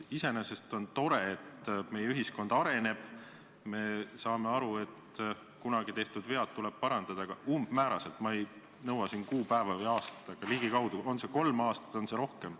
Iseenesest on tore, et meie ühiskond areneb, me saame aru, et kunagi tehtud vead tuleb parandada, aga öelge umbmääraselt – ma ei nõua kuupäeva ega aastat –, kas see on näiteks kolm aastat või rohkem.